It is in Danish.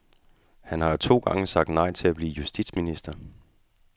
Han har to gange sagt nej til at blive justitsminister.